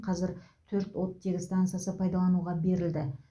қазір төрт оттегі стансасы пайдалануға берілді